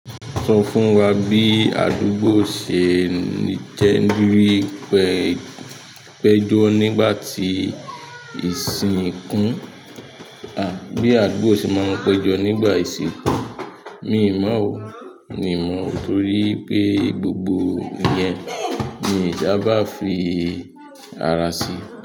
Sọ fún wa bí àdúgbò ṣe —ni—jẹ́. Péjọ́ nígbà ti ìsìnkú. Bí àdúgbò ṣe máa ń pẹ́jọ nígbà ìsìnkú. Miì mọ̀ọ́ o, miì mọ̀ọ́, torípé gbogbo ìyẹn mi ìí sábà fi ara si.